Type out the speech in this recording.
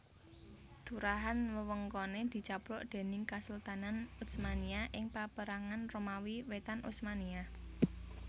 Turahan wewengkone dicaplok déning Kesultanan Utsmaniyah ing Paperangan Romawi Wétan Utsmaniyah